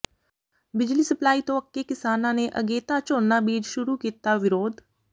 ਬਿਜਲੀ ਸਪਲਾਈ ਤੋਂ ਅੱਕੇ ਕਿਸਾਨਾਂ ਨੇ ਅਗੇਤਾ ਝੋਨਾ ਬੀਜ ਸ਼ੁਰੂ ਕੀਤਾ ਵਿਰੋਧ